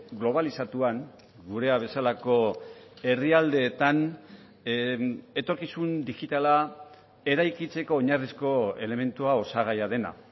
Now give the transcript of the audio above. globalizatuan gurea bezalako herrialdeetan etorkizun digitala eraikitzeko oinarrizko elementua osagaia dena